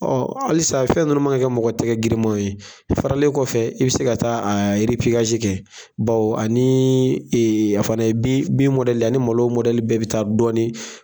Ɔ halisa fɛn nunnu ma kan ka kɛ mɔgɔ tɛgɛ giriman ye, a faralen kɔfɛ i bɛ se ka taa kɛ baw ani a fana bi mɔdɛli a ni malo mɔdɛli bɛɛ bɛ taa dɔɔni.